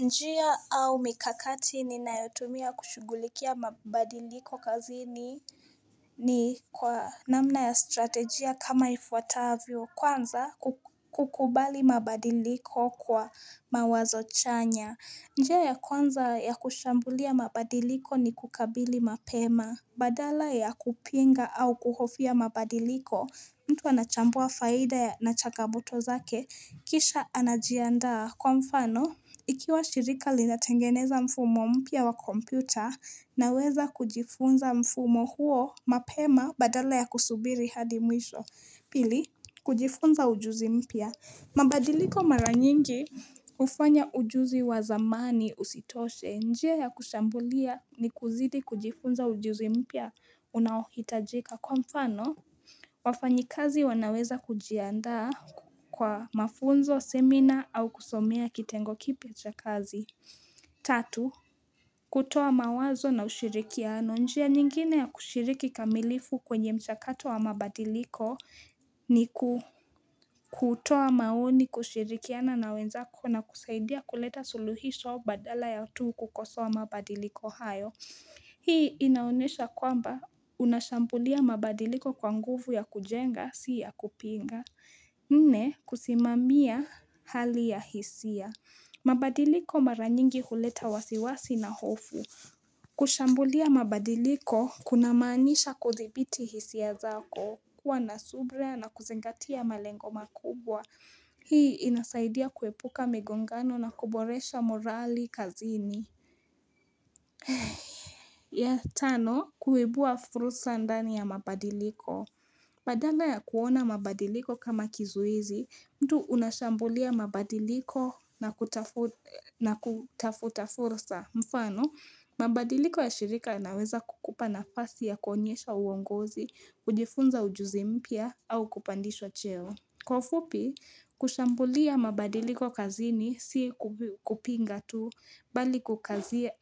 Njia au mikakati ni nayotumia kushugulikia mabadiliko kazini ni kwa namna ya strategia kama ifuatavyo kwanza kukubali mabadiliko kwa mawazo chanya. Njia ya kwanza ya kushambulia mabadiliko ni kukabili mapema. Badala ya kupinga au kuhofia mabadiliko mtu anachambua faida ya nachangamoto zake kisha anajiandaa kwa mfano Ikiwa shirika lina tengeneza mfumo mpya wa kompyuta, naweza kujifunza mfumo huo mapema badala ya kusubiri hadi mwisho. Pili, kujifunza ujuzi mpia. Mabadiliko mara nyingi hufanya ujuzi wa zamani usitoshe. Njia ya kushambulia ni kuzidi kujifunza ujuzi mpya unaohitajika. Kwa mfano, wafanyi kazi wanaweza kujiandaa kwa mafunzo, seminar au kusomea kitengo kipi cha kazi. Tatu, kutoa mawazo na ushirikino. Ni njia nyingine ya kushiriki kamilifu kwenye mchakato wa mabadiliko ni kutoa maoni kushirikia na na wenzako na kusaidia kuleta suluhisho badala ya tu kukosoa mabadiliko hayo. Hii inaonesha kwamba unashambulia mabadiliko kwa nguvu ya kujenga siya kupinga Nne, kusimamia hali ya hisia mabadiliko mara nyingi huleta wasiwasi na hofu kushambulia mabadiliko kuna maanisha kuthibiti hisia zako, kuwa na subra na kuzingatia malengo makubwa Hii inasaidia kuepuka migongano na kuboresha morali kazini ya tano, kuibua furusa ndani ya mabadiliko Badala ya kuona mabadiliko kama kizuizi, mtu unashambulia mabadiliko na kutafuta furusa mfano, mabadiliko ya shirika yanaweza kukupa nafasi ya kuonyesha uongozi, kujifunza ujuzi mpya au kupandishwa cheo Kwa ufupi, kushambulia mabadiliko kazini, si kupinga tu, bali kukazia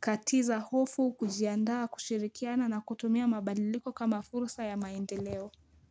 katiza hofu, kujiandaa, kushirikiana na kutumia mabadiliko kama fursa ya maendeleo.